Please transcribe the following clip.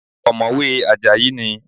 Ọ̀mọ̀wé Àjàyí ni